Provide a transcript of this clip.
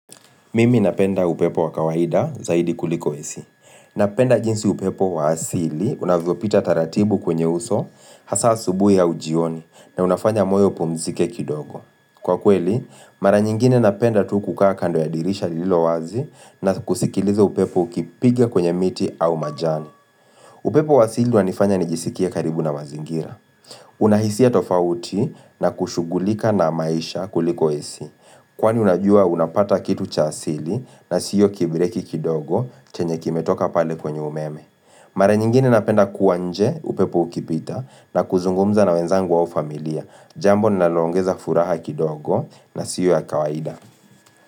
Mimi napenda upepo wa kawaida zaidi kuliko ac. Napenda jinsi upepo wa asili, unavyopita taratibu kwenye uso, hasa asubuhi au jioni, na unafanya moyo upumzike kidogo. Kwa kweli, mara nyingine napenda tu kukaa kando ya dirisha lililo wazi na kusikiliza upepo ukipiga kwenye miti au majani. Upepo wa asili wanifanya nijisikie karibu na mazingira. Unahisia tofauti na kushugulika na maisha kuliko ac. Kwani unajua unapata kitu cha asili na siyo kibireki kidogo chenye kimetoka pale kwenye umeme. Mara nyingine napenda kuwa nje upepo ukipita na kuzungumza na wenzangu au familia. Jambo linaloongeza furaha kidogo na sio ya kawaida.